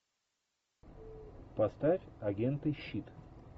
поставь агенты щит